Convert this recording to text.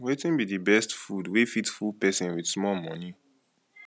wetin be the best food wey fit full person wit small money